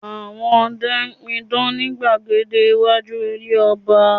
Àwọn ọdẹ n pidán ni gbàgede iwájú ilé ọba